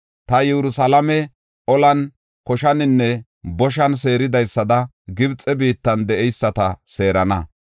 Ta Yerusalaame, olan, koshaninne boshan seeridaysada Gibxe biittan de7eyisata seerana.